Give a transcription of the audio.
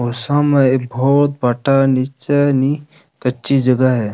और सामे एक बहोत भाटा नीचे नी कच्ची जगह है।